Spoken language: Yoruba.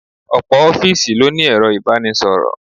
Ọ̀pọ̀ ofiisi ló ní ero ibanisoro.